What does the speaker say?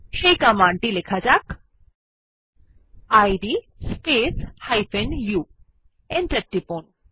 এই কমান্ড টি লিখুন ইদ স্পেস u এন্টার টিপুন